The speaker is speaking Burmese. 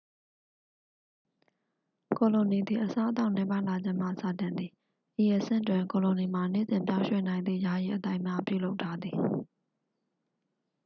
ကိုလိုနီသည် အစားအသောက်နည်းပါးလာခြင်းမှစတင်သည် ဤအဆင့်တွင် ကိုလိုနီမှာ နေ့စဉ်ပြောင်းရွှေ့နိုင်သည့် ယာယီအသိုက်များပြုလုပ်ထားသည်